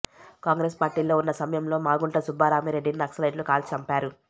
కాంగ్రెసు పార్టీలో ఉన్న సమయంలో మాగుంట సుబ్బరామిరెడ్డిని నక్సలైట్లు కాల్చి చంపారు